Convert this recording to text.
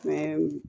Mɛ